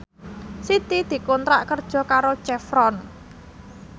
Siti dikontrak kerja karo Chevron